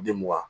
Demaa